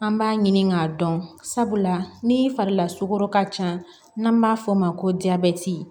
An b'a ɲini k'a dɔn sabula ni fari la sogo ka ca n'an b'a fɔ o ma ko jabɛti